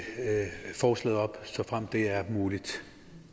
forslaget op såfremt det er muligt